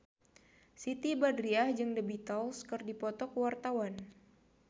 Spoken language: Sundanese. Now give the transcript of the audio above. Siti Badriah jeung The Beatles keur dipoto ku wartawan